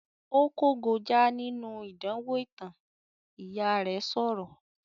"Ó kógojá nínú ìdánwò ìtàn", Ìyá rẹ̀ sọ̀rọ̀